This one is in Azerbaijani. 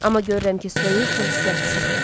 Amma görürəm ki, soyuq və hissiyatsızdır.